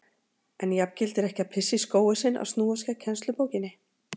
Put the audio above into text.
En jafngildir ekki að pissa í skóinn sinn að snúast gegn kennslubókinni?